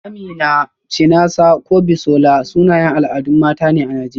Amina, Chinasa ko Bisola, sunayen al'adun mata ne a Najeriya.